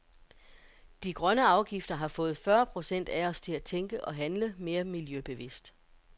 De grønne afgifter har fået fyrre procent af os til at tænke og handle mere miljøbevidst.